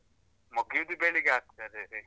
ಮುಗ್ಯುದ್ ಬೆಳಿಗ್ಗೆ ಆಗ್ತದೆ ವೇ.